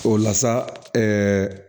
O la sa